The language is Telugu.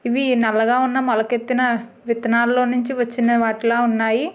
ఇవి నల్లగా ఉన్న మొలకెత్తిన విత్తనాల్లో నుంచి వచ్చిన వాటిలా ఉన్నాయి.